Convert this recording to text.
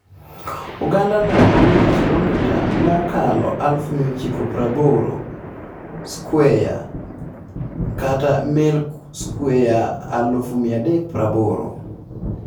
Ogandano nigi kilomita mokalo 980,000 skweya (mail skweya 380,000).